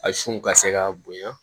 A sun ka se ka bonya